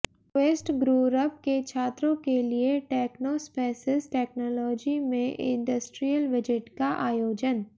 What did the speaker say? quest group के छात्रों के लिए टैक्नोस्पेसिस टैक्नोलाजी में इंडस्ट्रीयल विजिट का आयोजन